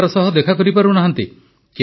ପରିବାର ସହ ଦେଖା କରିପାରୁନାହାନ୍ତି